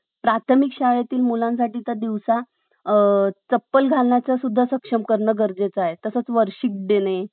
त्यावर तुमचा विश्वास आहे. तो तुमच्यासाठी आधीच अदृश्य आहे. ब्रम्हांड हे दृश्यमान करण्यासाठी सर्व काही करेल. जर आपण ब्रम्हांडात जर अशी frequency पाठवू कि हो, मला हे मिळालेलं आहे.